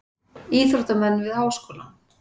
Íþróttamenn við Háskólann.